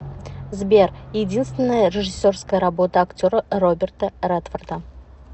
сбер единственная режиссерская работа актера роберта редфорда